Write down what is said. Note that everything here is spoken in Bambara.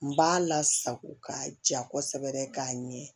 N b'a lasago ka ja kosɛbɛ k'a ɲɛ